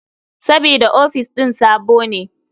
Sabida ofis ɗin sabo ne.